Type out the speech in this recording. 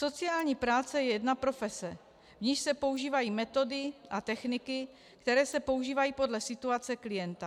Sociální práce je jedna profese, v níž se používají metody a techniky, které se používají podle situace klienta.